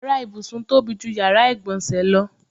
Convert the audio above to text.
Yàrá ìbùsùn tóbi ju yàrá ìgbọ̀nsẹ̀ lọ.